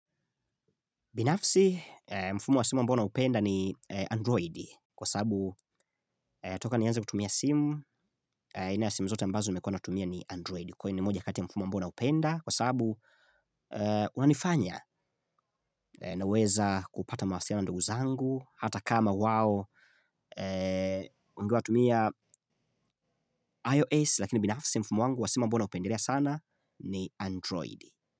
Binafsi mfumo wa simu ambao naupenda ni Android kwa sababu toka nianze kutumia simu aina ya simu zote ambazo nimekuwa natumia ni Android kwa hiyo ni moja kati ya mfumo ambao naupenda kwa sababu unanifanya naweza kupata mawasiliano na ndugu zangu hata kama wao unajua watumia iOS lakini binafsi mfumo wangu wa simu ambao naupendelea sana ni Android.